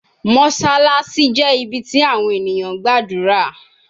Mossalassi jẹ ibi ti awọn eniyan gbadura